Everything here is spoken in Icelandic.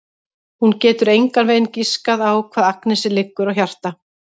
Hún getur engan veginn giskað á hvað Agnesi liggur á hjarta.